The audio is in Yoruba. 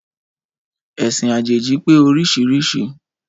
Ẹ̀sìn àjèjì pé oríṣiríṣi